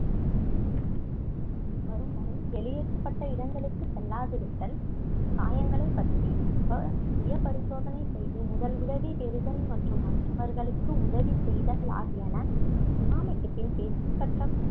வரும்வரை வெளியேற்றப்பட்ட இடங்களுக்கு செல்லாதிருத்தல் காயங்களைப் பற்றி சுப~ சுயபரிசோதனை செய்து முதல் உதவி பெறுதல் மற்றும் மற்றவர்களுக்கு உதவி செய்தல் ஆகியன சுனாமிக்கு பின் பின்பற்ற